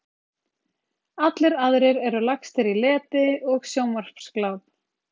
Allir aðrir eru lagstir í leti og sjónvarpsgláp.